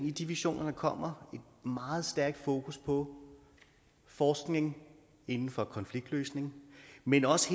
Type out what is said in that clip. i de visioner der kommer medtager meget stærkt fokus på forskning inden for konfliktløsning men også